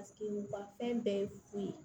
Paseke u ma fɛn bɛɛ ye fu ye